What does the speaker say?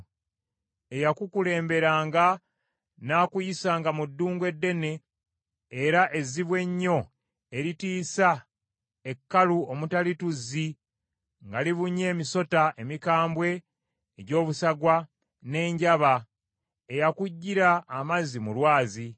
Eyakukulemberanga n’akuyisanga mu ddungu eddene era ezzibu ennyo eritiisa, ekkalu omutali tuzzi, nga libunye emisota emikambwe egy’obusagwa, n’enjaba. Eyakuggyira amazzi mu lwazi.